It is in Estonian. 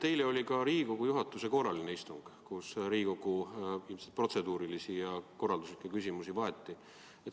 Eile oli Riigikogu juhatuse korraline istung, kus ilmselt vaeti Riigikogu protseduurilisi ja töökorralduslikke küsimusi.